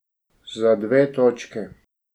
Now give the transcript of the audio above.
Za dve točki!